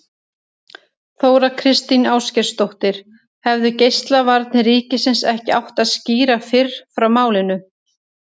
Þóra Kristín Ásgeirsdóttir: Hefðu Geislavarnir ríkisins ekki átt að skýra fyrr frá málinu?